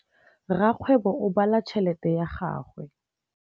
Rakgwêbô o bala tšheletê ya gagwe.